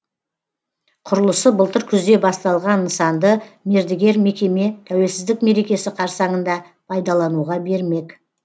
құрылысы былтыр күзде басталған нысанды мердігер мекеме тәуелсіздік мерекесі қарсаңында пайдалануға бермек